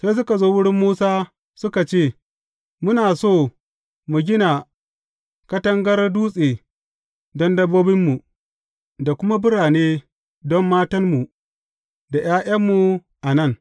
Sai suka zo wurin Musa, suka ce, Muna so mu gina katangar dutse don dabbobinmu, da kuma birane don matanmu da ’ya’yanmu a nan.